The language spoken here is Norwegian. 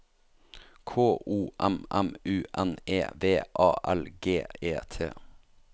K O M M U N E V A L G E T